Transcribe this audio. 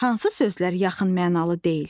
Hansı sözlər yaxın mənalı deyil?